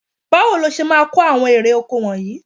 Báwo le ṣe máa ko àwọn èrè-oko wọnyìí?